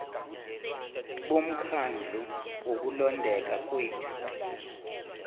bomkhandlu wokulondeka kwethu